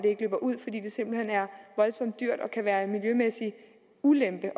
ikke løber ud fordi det simpelt hen er voldsomt dyrt og kan være en miljømæssig ulempe